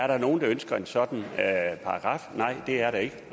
der er nogen der ønsker en sådan paragraf nej det er der ikke